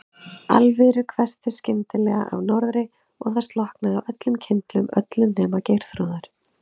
Alviðru hvessti skyndilega af norðri og það slokknaði á öllum kyndlum, öllum nema Geirþrúðar.